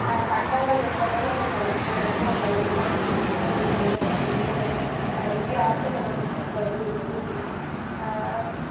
ஆஹ் சட்டங்கள் எந்த அளவுக்கு கடுமையா இருக்கோ அந்த அளவுக்குதான் வந்து குற்றங்கள் குறையும் அப்படின்னு ஆஹ் இந்தியா அரசியலமைப்பு சட்டம் வந்து சொல்லுது ஆஹ்